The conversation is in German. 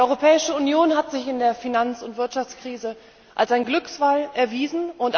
Die Europäische Union hat sich in der Finanz und Wirtschaftskrise als ein Glücksfall erwiesen.